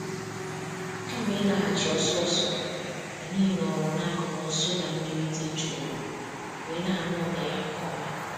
Kama ịlaghachi ọsọ ọsọ, anyị nọọrọ n'akụkụ nsụda mmiri dị jụụ wee na-anụ ụda ya nke ọma.